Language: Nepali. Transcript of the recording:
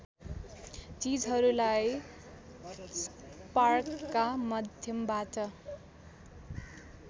चिजहरूलाई स्पार्कका माध्यमबाट